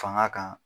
Fanga kan